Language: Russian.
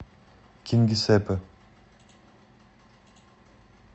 кингисеппе